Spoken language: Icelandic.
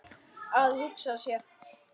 Að hugsa sér.